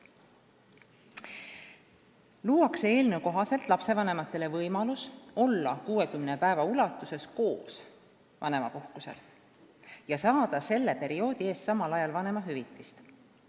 Eelnõu kohaselt luuakse lapsevanematele võimalus olla 60 päeva koos vanemapuhkusel ja saada selle perioodi eest vanemahüvitist.